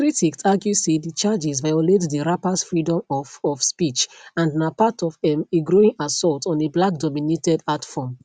critics argue say di charges violate di rappers freedom of of speech and na part of um a growing assault on a blackdominated art form